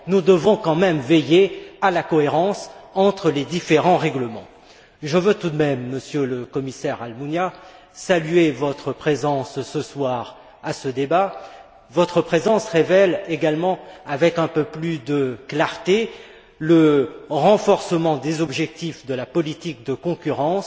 Nous devons quand même veiller à la cohérence entre les différents règlements. Je veux tout de même, Monsieur le Commissaire Almunia, saluer votre présence ce soir à ce débat. Elle indique également, avec un peu plus de clarté, le renforcement des objectifs de la politique de concurrence